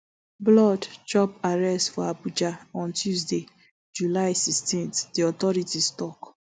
blord chop arrest for abuja on tuesday july sixteen di authorities tok